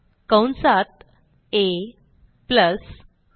कंसात ab